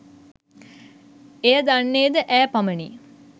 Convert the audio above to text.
එය දන්නේ ද ඈ පමණි